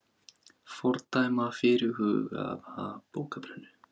Fordæma fyrirhugaða bókabrennu